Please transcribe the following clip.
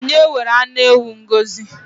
Onye were anụ ewu Ngọzi?